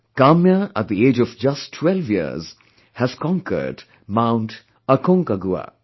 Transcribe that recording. Kamya, at the age of just twelve years, has conquered Mount Aconcagua